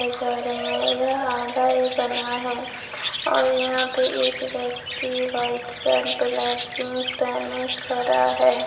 ये छड़ हैं यह आधा ही बना है और यहां पे एक व्यक्ति व्हाइट शर्ट ब्लैक जींस पहने खड़ा है।